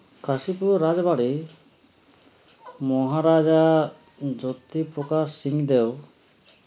Kashipur Rajbari Maharaja Jyotiprakash Singh Deo